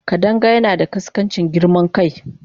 Kadanga yana da ƙaskancin girman kai.